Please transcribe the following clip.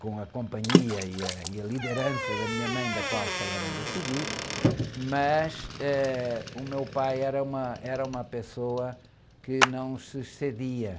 com a companhia e a, e a liderança da minha mãe, da qual falarei a seguir, mas, eh, o meu pai era uma, era uma pessoa que não se excedia.